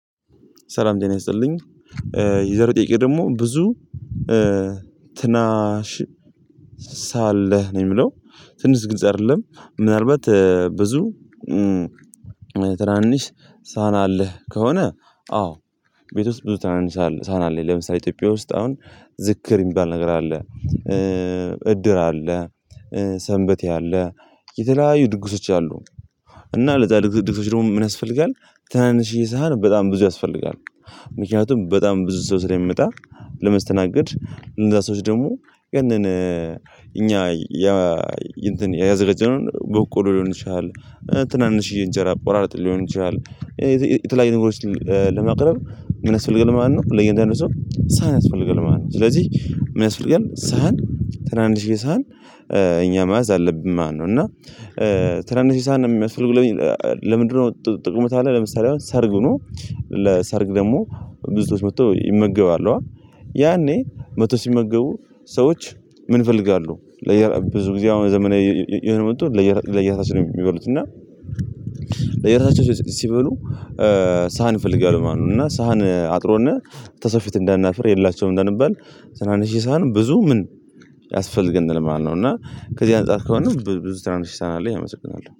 ሰላም ህና ይስጥልኝ። የዘሮ ጥይቅ ደግሞ ብዙ ትናሽ ሳለህ ነው የምለው። ትንሽ ግልጽ አይደለም ምናልባት ብዙ ትናንሽ ሳናለህ ከሆነ አዎ። ቤት ውስጥ ብዙ ትናንሽ ሳሀን አለ። ለምሳሌ ኢትዮጵያ ውስጥ አሁን ዝክር የሚባል ነገር አለ። እድር አለ። ሰንበት ያለ የተለያዩ ድግሶች አሉ። እና ለዛ ድግሶች ደግሞ ምን ያስፈልጋል ተናንሽይ ሳህን በጣም ብዙ ያስፈልጋል። ምክንያቱም በጣም ብዙ ሰው ስለሚመጣ ለማስተናገድ እንደዛ ሰዎች ደግሞ ቀን እኛ ያ ያዘጋጀነውን በቆሎ ሊሆን ይችላል። ትናንሽዬ እንጀራ ቆራርጠን ሊሆን ይችላል። የተለያዩ ነጉሮች ለማቅረብ ምን ያስፈልጋል ማለት ነው። ለእያንዳንዱ ሰው ሳህን ያስፈልጋል ማለት ነው። ስለዚህ የሚያስፈልገን ሳህን ትላንሺዬ ሳህን እኛ መያዝ አለብኝ ማለት ነው። እና ትናንሽ ሳህን የሚያስፈልግ ለምንድነው? ጥቅሙ ለምሳሌ አሁን ሰርግ ነው። ለሰርግ ደግሞ ብዙዎች መጥተው ይመገባሉ። ያኔ መቶ ሲመገቡ ሰዎች ምን ይፈልጋሉ? ለየራሱ ብዙ ጊዜ አሁን ዘመናዊ የሆነ መጡ ለየራሱ ነው የሚበሉት እና ለየራሳቸው ሲበሉ ሳህን ይፈልጋሉ ማለት ነው። እና ሳህን አጥሮነህ ተሰፊት እንዳናፍር የሌላቸውም እንዳንባል። ትራንች ሺህ ሳህን ብዙ ምን ያስፈልገናል? ማለት ነው። እና ከዚህ አንፃር ከሆነ ብዙ ትራንች ሺህ ሳህን አለ ያመሰግናል